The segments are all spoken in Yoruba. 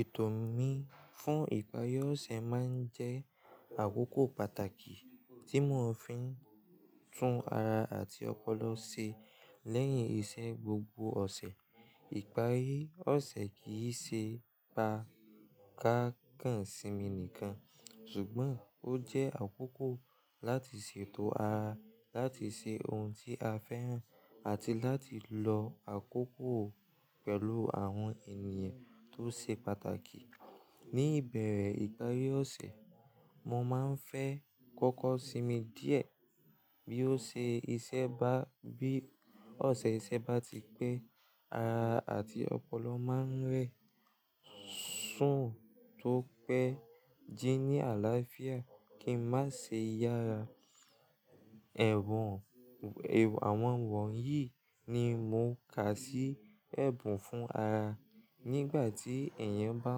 Ètò mi fún ìparí ọ̀sẹ̀ máa ń jẹ́ àkókò pàtàkì tí mo fi ń tún ara àti ọpọlọ ṣe lẹ́yìn iṣẹ́ gbogbo ọ̀sẹ̀. Ìparí ọ̀sẹ̀ kì í ṣe pa ká kàn sí mi nìkan, ṣùgbọ́n ó jẹ́ àkókò láti ṣètò ara láti ṣe ohun tí a fẹ́ ràn àti láti lo àkókò pẹ̀lú àwọn ènìyàn tó ṣe pàtàkì. Ní ìbẹ̀rẹ̀ ìparí ọ̀sẹ̀, mo máa ń fẹ́ kọ́kọ́ sinmi díẹ̀. Bí ó ṣe iṣẹ́ bá-- bí ọ̀sẹ̀ iṣẹ́ bá ti pé, ara àti ọpọlọ máa ń rẹ̀, sùn tó pẹ́, jí ní àlàáfíà kí a má ṣe yára. Ẹ̀wọ̀n, èw-- àwọn wọ̀nyí ni mo kà sí ẹ̀bùn fún ara. Nígbà tí èèyàn bá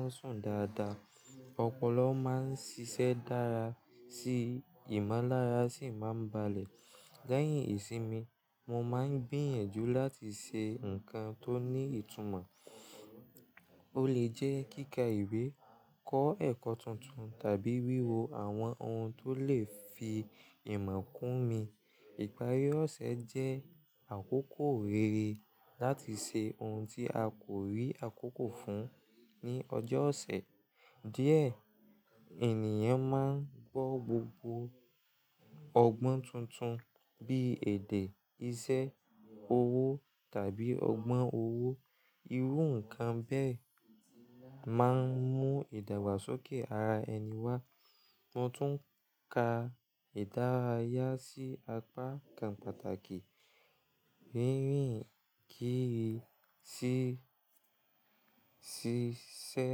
ń sùn dáadáa, ọpọlọ máa ń ṣiṣẹ́ dára síi, ìmọ̀lára sì máa ń balẹ̀. Lẹ́yìn ìsinmi, mo máa ń gbìyànjú láti ṣe nǹkan tó ní ìtumọ̀. Ó lè jẹ́ kíkà ìwé, kọ́ ẹ̀kọ́ tuntun tàbí wíwo àwọn ohun tó lè fi ìmọ̀ kún mi. Ìparí ọ̀sẹ̀ jẹ́ àkókò rere láti ṣe ohun tí a kò rí àkókò fún ní ọjọ́ ọ̀sẹ̀. Díẹ̀, ènìyàn máa ń gbọ́ gbogbo ọgbọ́n tuntun bí i èdè, iṣẹ́, owó tàbí ọgbọ́n owó. Irú nǹkan bẹ́ẹ̀ máa ń mú ìdàgbàsókè ara ẹni wá. Mo tún ka ìdárayá sí apá kan pàtàkì. Rírin kiri sí, sí iṣẹ́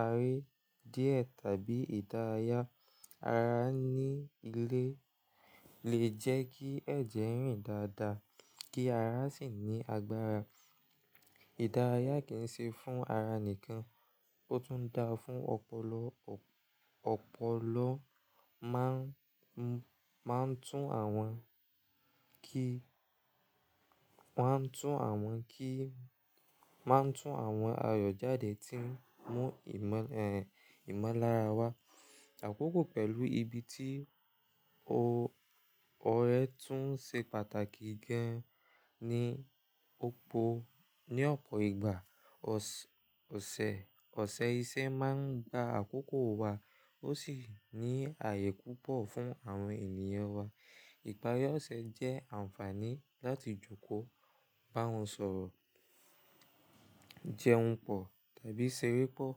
aré díẹ̀ tàbí ìdárayá ara ní ilé lè jẹ́ kí ẹ̀jẹ̀ rìn dáadáa kí ara sì ní agbára. Ìdárayá kì í ṣe fún ara nìkan, ó tún da fún ọpọlọ, ọ̀-ọpọlọ máa ń, máa ń tún àwọn kí, wọ́n á tún àwọn kí, máa ń tún àwọn ayọ̀ jáde tí ń mú ìmọ̀lẹ̀, ẹ̀, ìmọ̀lára wá. Àkókò pẹ̀lú ibi tí o-ọ̀rẹ́ tún ṣe pàtàkì gan-an ní òpó, ní ọ̀pọ̀ ìgbà. Ọ̀sẹ̀, ọ̀sẹ̀ iṣẹ́ máa ń gba àkókò wa, ó sì ní ààyè púpọ̀ fún àwọn ènìyàn wa. Ìparí ọ̀sẹ̀ jẹ́ àǹfààní láti jókòó, bá wọn sọ̀rọ̀, jẹun pọ̀ tàbí ṣeré pọ̀.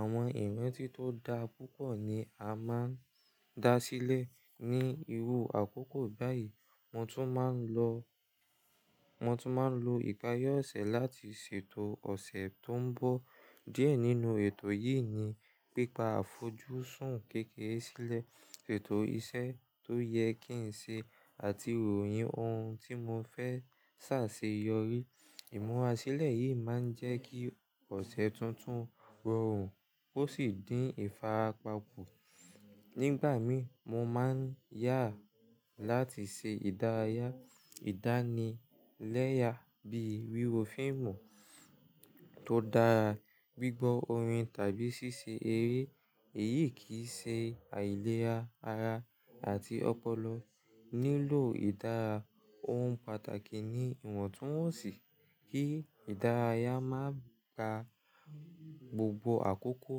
Àwọn ìrántí tó da púpọ̀ ni a máa ń dá sílẹ̀ ní irú àkókò báyìí. Mo tún máa ń lo, mo tún máa ń lo ìparí ọ̀sẹ̀ láti ṣètò ọ̀sẹ̀ tó ń bọ̀. Díẹ̀ nínú ètò yìí ni pípa àfojúsùn kéékèé sílẹ̀, ṣètò iṣẹ́ tó yẹ kí n ṣe àti ròyìn ohun tí mo fẹ́ ṣà ṣe yori. Ìmúra sílẹ̀ yìí máa ń jẹ́ kí ọ̀sẹ̀ tuntun rọrùn ó sì dín ìfarapa kù. Nígbà mi, mo máa ń yà láti ṣe ìdárayá, ìdánilẹ́ya bí wíwo fíìmù tó dára, gbígbọ́ orin tàbí ṣíṣe eré. Èyí kì í ṣe àìlera, ara àti ọpọlọ nílò ìdára. Ohun pàtàkì ni ìwọ̀ntúnwọ̀nsì kí ìdárayá má ka gbogbo àkókò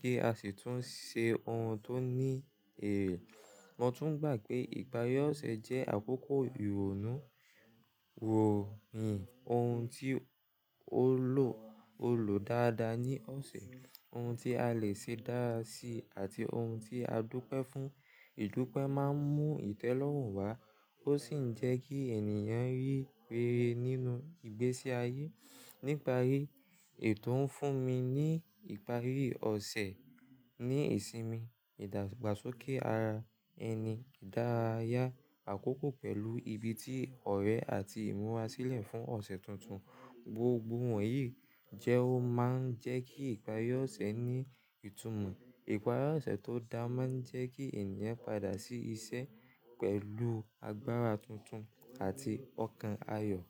kí a sì tún ṣe ohun tó ní èrè. Mo tún gbà pé ìparí ọ̀sẹ̀ jẹ́ àkókò ìrònú, ròyìn ohun tí ó lọ, ó lọ dáadáa ní ọ̀sẹ̀, ohun tí a lè ṣe dára sí i àti ohun tí a dúpẹ́ fún. Ìdúpẹ́ máa ń mú ìtẹ́lọ́rùn wá, ó sì ń jẹ́ kí ènìyàn rí rere nínú ìgbésí ayé. Níparí, ètò ń fún mi ní ìparí ọ̀sẹ̀ ní ìsinmi, ìdàgbàsókè ara ẹni, ìdárayá, àkókò pẹ̀lú ibi tí ọ̀rẹ́ àti ìmúra sílẹ̀ fún ọ̀sẹ̀ tuntun. Gbogbo wọ̀nyí jẹ́ ó máa ń jẹ́ kí ìparí ọ̀sẹ̀ ní ìtumọ̀. Ìparí ọ̀sẹ̀ tó dáa máa ń jẹ́ kí ènìyàn padà sí iṣẹ́ pẹ̀lú agbára tuntun àti ọkàn ayọ̀.